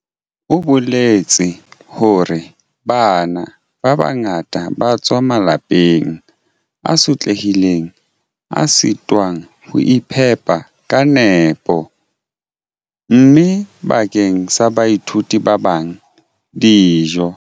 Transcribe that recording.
O boletse hore "Bana ba bangata ba tswa malapeng a sotlehileng a sitwang ho iphepa ka nepo, mme bakeng sa baithuti ba bang, dijo"